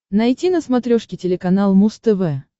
найти на смотрешке телеканал муз тв